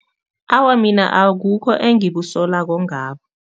Awa, mina akukho engikusolako ngabo.